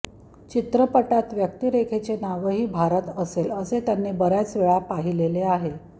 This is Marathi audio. चित्रपटात व्यक्तीरेखेचे नावही भारत असेल असे त्यांनी बर्याचवेळा पाहिलेले आहे